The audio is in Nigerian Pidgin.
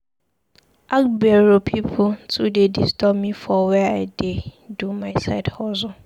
Agbero pipu too dey disturb me for where I dey do my side hustle.